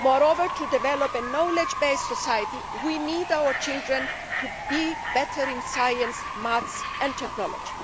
Moreover, in order to develop a knowledge based society, we need our children to be better at science, maths and technology.